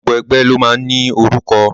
Gbogbo ẹgbẹ́ ni o máa ń ní orúkọ.